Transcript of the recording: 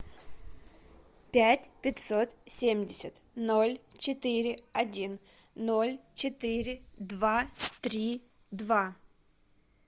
пять пятьсот семьдесят ноль четыре один ноль четыре два три два